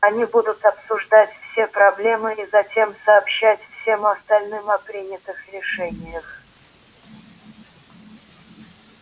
они будут обсуждать все проблемы и затем сообщать всем остальным о принятых решениях